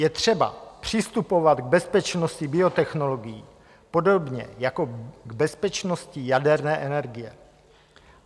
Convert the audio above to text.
Je třeba přistupovat k bezpečnosti biotechnologií podobně jako k bezpečnosti jaderné energie.